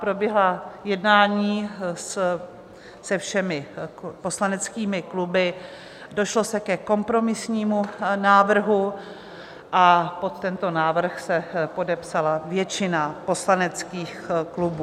Proběhla jednání se všemi poslaneckými kluby, došlo se ke kompromisnímu návrhu a pod tento návrh se podepsala většina poslaneckých klubů.